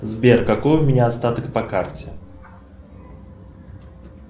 сбер какой у меня остаток по карте